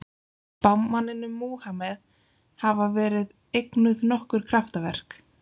Spámanninum Múhameð hafa verið eignuð nokkur kraftaverk.